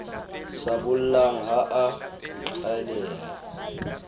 sa bollang ha a qhaleha